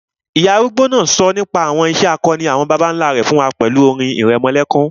Ìyá arúgbó náà sọ nípa àwọn ìṣe akọni àwọn bàbá nlá rẹ̀ fún wa pẹ̀lú orin ìrẹmọlẹ́kún